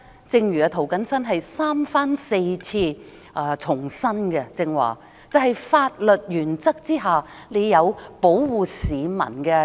正如涂謹申議員剛才三番四次重申，在法律原則之下，政府有保護市民的責任。